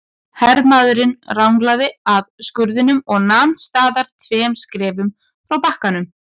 Hermaðurinn ranglaði að skurðinum og nam staðar tveimur skrefum frá bakkanum.